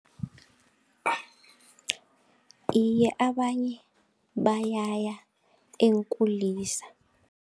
Iye, abanye bayaya eenkulisa.